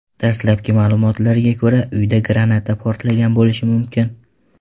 Dastlabki ma’lumotlarga ko‘ra, uyda granata portlagan bo‘lishi mumkin.